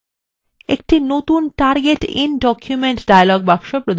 একটি নতুন target in document dialog box প্রদর্শিত হচ্ছে